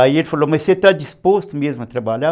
Aí ele falou, mas você está disposto mesmo a trabalhar?